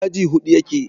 aji Hudu yake